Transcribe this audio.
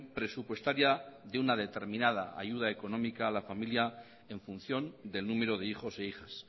presupuestaria de una determinada ayuda económica a la familia en función del número de hijos e hijas